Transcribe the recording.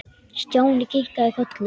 Stjáni kinkaði kolli.